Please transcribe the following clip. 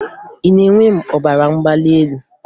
Ị na-enwe ọbara mgbali elu